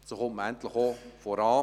So kommt man endlich auch voran.